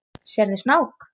Sérðu snák?